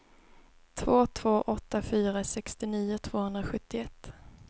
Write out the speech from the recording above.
två två åtta fyra sextionio tvåhundrasjuttioett